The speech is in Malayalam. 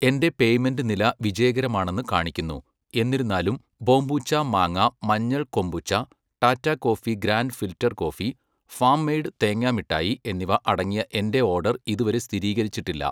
എന്റെ പേയ്മെന്റ് നില വിജയകരമാണെന്ന് കാണിക്കുന്നു, എന്നിരുന്നാലും ബോംബൂച്ച മാങ്ങ മഞ്ഞൾ kombucha, Tata coffee grand filter coffee, farm made തേങ്ങാ മിഠായി എന്നിവ അടങ്ങിയ എന്റെ ഓർഡർ ഇതുവരെ സ്ഥിരീകരിച്ചിട്ടില്ല.